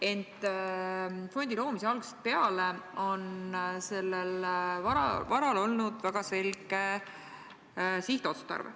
Ent fondi loomise algusest peale on sellel varal olnud väga selge sihtotstarve.